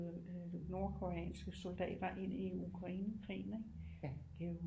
Nordkoreanske soldater ind i Ukrainekrigen ikke det er jo